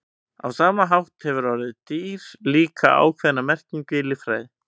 Á sama hátt hefur orðið dýr líka ákveðna merkingu í líffræði.